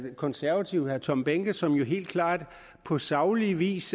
konservatives herre tom behnke som helt klart på saglig vis